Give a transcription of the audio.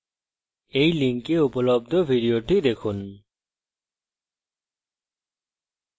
এই link উপলব্ধ video দেখুন